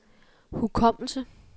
hukommelse